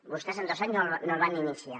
vostès en dos anys no el van iniciar